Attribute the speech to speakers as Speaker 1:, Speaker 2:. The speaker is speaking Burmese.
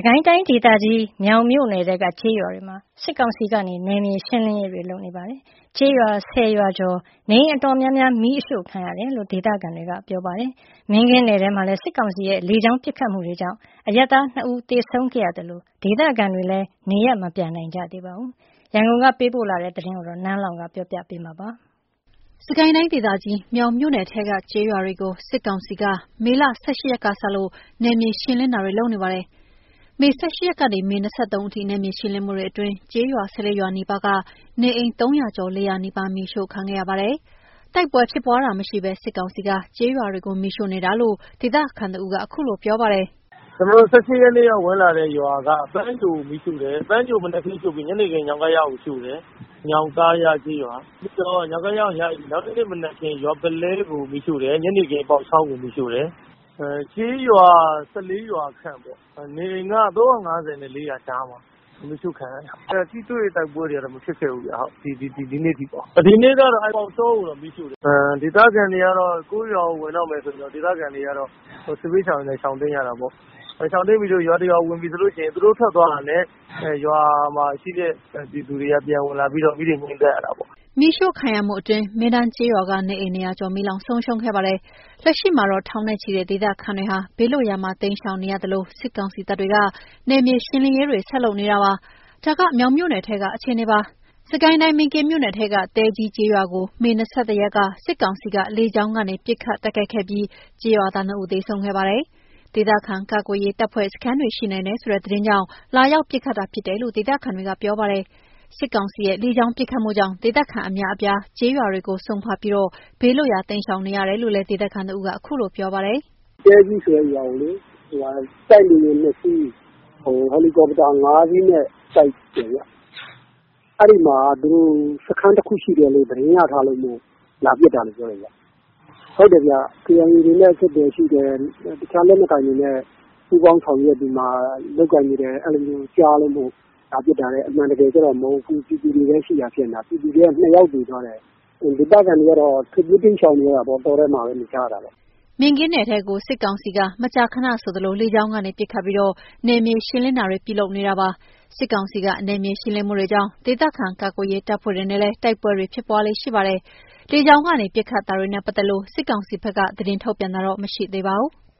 Speaker 1: ကိုင်းတိုင်းဒေသကြီး မြောင်မြို့နယ်ထဲက ကျေးရွာတွေမှာ စစ်ကောင်စီက နယ်မြေရှင်းလင်းတာ တွေလုပ်နေပြီး ကျေးရွာ ၁၀ ရွာကျော်က နေအိမ်တော်တော်များများ မီးရှို့ခံရတယ်လို့ ဒေသခံတွေ ကပြောပါတယ်။ မင်းကင်းနယ်ထဲမှာဆိုရင်လည်း စစ်ကောင်စီရဲ့ လေကြောင်းပစ်ခတ်မှုတွေကြောင့် အရပ်သား ၂ ဦးသေဆုံးခဲ့ပြီးဒေသခံတွေဟာ နေရပ်မပြန်နိုင်ဘဲဖြစ်နေပါတယ်။ ရန်ကုန်က ပေးပို့လာတဲ့သတင်းကို နန်းလောင်ဝ် ကပြောပြပါမယ်။ စစ်ကိုင်းတိုင်းဒေသကြီး မြောင်မြို့နယ်ထဲက ကျေးရွာတွေ
Speaker 2: ကို စစ်ကောင်စီက မေ ၁၈ ရက်ကစလို့ နယ်မြေရှင်းလင်းတာတွေလုပ်နေတာပါ။ မေ ၁၈ ရက်ကနေ မေ ၂၃ ရက်အထိ နယ်မြေရှင်းလင်းမှု တွေအတွင်း ကျေးရွာ ၁၄ ရွာနီးပါးက နေအိမ် ၃၀၀ ကျော် ၄၀၀ နီးပါး မီးရှို့ခံခဲ့ရပါတယ်။ တိုက်ပွဲဖြစ်ပွား တာမရှိဘဲ စစ်ကောင်စီက ကျေးရွာတွေကို မီးရှို့နေတာလို့ ဒေသခံတဦးက အခုလိုပြောပါတယ်။
Speaker 3: “ကျွန်တော်တို့ ၁၈ ရက်နေ့က ဝင်လာတဲ့ရွာက ပန်းညိုကိုရှို့တယ်။ ညနေခင်း ညောင်းကား တားကိုရှို့တယ်။ နောက်တနေ့ မနက်ခင်း ရွာပုလဲကိုမီးရှို့တယ်။ ညနေခင်း ပေါက်ချောင်း ကိုမီးရှို့တယ်။ ကျေးရွာ ၁၄ ရွာခန့် နေအိမ်က ၃၅၀ နဲ့ ၄၀၀ ကြားမှာ မီးရှို့ခံရတယ်။ ထိတွေ့တိုက်ပွဲ တွေက မဖြစ်ခဲ့ဘူး ဒီနေ့အထိ။ ဒီနေ့က ပေါက်ချောင်းကိုမီးရှို့တယ်။ ဒေသခံတွေကတော့ ကိုယ့်ရွာကို ဝင်တော့မယ်ဆိုရင် စစ်ဘေးရှောင်အနေနဲ့ရှောင်တိမ်းရတာပေါ့။ ရှောင်တိမ်းပြီး ရွာတရွာကို ဝင်ရင် သူတို့ထွက်သွားတာနဲ့ ရွာမှာရှိတဲ့ ပြည်သူတွေက ပြန်ဝင်လာပြီး မီးတွေငြိမ်းသတ်ရတာပေါ့
Speaker 2: ။” မီးရှို့ခံရမှုအတွင်း မင်းတန်းကျေးရွာက နေအိမ် ၂၀၀ ကျော်မီးလောင်ဆုံးရှုံးခဲ့ပါတယ်။ လက်ရှိမှာတော့ ထောင်နဲ့ချီတဲ့ဒေသခံတွေဟာ ဘေးလွတ်ရာမှာ တိမ်းရှောင်နေရသလို စစ်ကောင်စီတပ်တွေဟာ နယ်မြေရှင်းလင်းရေးတွေ ဆက်လုပ်နေပါတယ်။ ဒါက မြောင်မြို့နယ်ထဲက အခြေအနေပါ။ စစ်ကိုင်းတိုင်း မင်းကင်းမြို့နယ်ထဲက တဲကြီးကျေးရွာကို မေ ၂၁ ရက်က စစ်ကောင်စီက လေကြောင်း ကနေ ပစ်ခတ်တိုက်ခတ်ခဲ့ပြီး ကျေးရွာသား ၂ ဦး သေဆုံးခဲ့ပါတယ်။ ဒေသခံကာကွယ်ရေး တပ်ဖွဲ့စခန်းတွေ ရှိနိုင်တယ်ဆိုတဲ့ သတင်းကြောင့် လာရောက်ပစ်ခတ်တာ ဖြစ်တယ်လို့ ဒေသခံ တွေကပြောပါတယ်။ စစ်ကောင်စီရဲ့ လေကြောင်းပစ်ခတ်တာကြောင့် ဒေသခံအများအပြားဟာ ကျေးရွာတွေကိုစွန့်ခါွပြီး ဘေးလွတ်ရာ တိမ်းရှောင်နေရတယ်လို့ ဒေသခံတဦးက အခုလိုပြောပါတယ်။
Speaker 4: “တဲကြီးဆိုတဲ့ရွာကို တိုက်လေယာဉ် ၂ စီး ဟယ်လီကော်ပတာ ၅ စီးနဲ့ တိုက်တယ်ဗျ။ အဲ့ဒီမှာ စခန်းတခုရှိတယ် သတင်းရထားလို့ လာပစ်တာလို့ပြောတယ်။ KIA တွေနဲ့ အဆက်အသွယ်ရှိတယ်။ တခြားလက်နက်ကိုင်တွေနဲ့ ပူးပေါင်းဆောင်ရွာက်ပြီးမှ လုပ်ကိုင်နေတယ် အဲ့လိုကြားလို့ လာပစ်တာတဲ့ အမှန်တကယ်ကြတော့ မဟုတ်ဘူး ပြည်သူတွေပဲရှိတာ ဖြစ်နေတယ်။ ပြည်သူထဲက ၂ ယောက်သေ သွားတယ်။ ဒေသခံတွေကတော့ ထွက်ပြေးတိမ်းရှောင်နေကြရတာာပေါ့ တောထဲမှာနေကြရတယ်။
Speaker 2: ” မင်းကင်းနယ်ထဲကို စစ်ကောင်စီက မကြာခဏဆိုသလို လေကြောင်းကနေ ပစ်ခတ်ပြီး နယ်မြေ ရှင်းလင်းတာတွေ ပြုလုပ်ပါတယ်။ စစ်ကောင်စီက နယ်မြေရှင်းလင်းမှုတွေကြောင့် ဒေသခံကာ ကွယ်ရေး တပ်ဖွဲ့တွေနဲ့လည်း တိုက်ပွဲတွေ ဖြစ်ပွားလေ့ရှိပါတယ်။ လေကြောင်းကနေ ပစ်ခတ်တာ တွေနဲ့ ပတ်သက်လို့ စစ်ကောင်စီက သတင်းထုတ်ပြန်တာတော့ မရှိသေးပါဘူး။